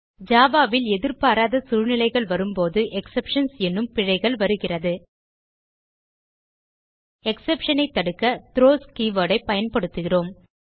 Java ல் எதிர்பாராத சூழ்நிலைகள் வரும்போது எக்ஸெப்ஷன்ஸ் எனும் பிழைகள் வருகிறது எக்ஸெப்ஷன் ஐ தடுக்க த்ரோஸ் keywordஐ பயன்படுத்துகிறோம்